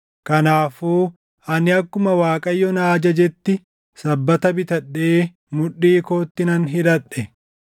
Kanaafuu ani akkuma Waaqayyo na ajajetti sabbata bitadhee mudhii kootti nan hidhadhe.